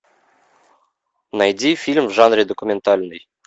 найди фильм в жанре документальный